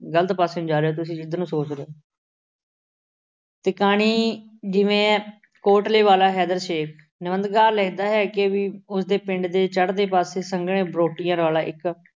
ਗਲਤ ਪਾਸੇਂ ਨੂੰ ਜਾ ਰਹੇ ਤੁਸੀਂ ਜਿਧਰ ਨੂੰ ਸੋਚ ਰਹੇ ਓਂ ਤੇ ਕਹਾਣੀ ਜਿਵੇਂ ਐ ਕੋਟਲੇ ਵਾਲਾ ਹੈਦਰ ਸ਼ੇਖ। ਨਿਬੰਧਕਾਰ ਲਿਖਦਾ ਹੈ ਕਿ ਵੀ ਉਸ ਦੇ ਪਿੰਡ ਦੇ ਚੜ੍ਹਦੇ ਪਾਸੇ ਸੰਘਣੇ ਬਰੋਟੇ ਵਾਲਾ ਇੱਕ